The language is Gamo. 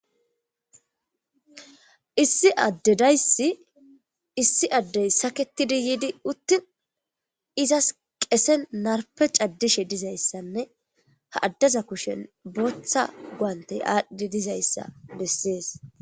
Issi addedayssi issi addey saketidi yiidi uttin izas qesen narpe caddishe dizayssanne ha addaza kushen booththa guantey aadhdi dizayssa bessees.